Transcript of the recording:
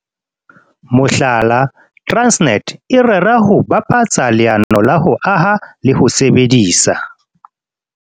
Mohlala, Transnet e rera ho bapatsa leano la ho aha le ho sebedisa